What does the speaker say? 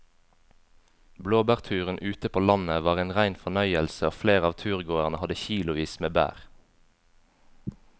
Blåbærturen ute på landet var en rein fornøyelse og flere av turgåerene hadde kilosvis med bær.